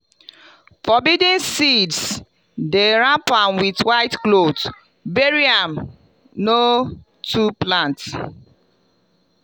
forbidden seeds dem wrap am with white cloth bury am no to plant.